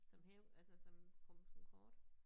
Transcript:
Som hæv altså som som kort